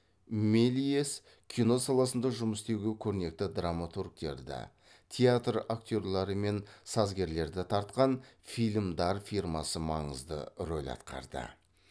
мельес кино саласында жұмыс істеуге көрнекті драматургтерді театр актерлері мен сазгерлерді тартқан фильм дар фирмасы маңызды рөл атқарды